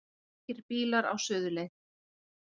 Margir bílar á suðurleið